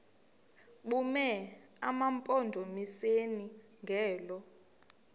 bume emampondomiseni ngelo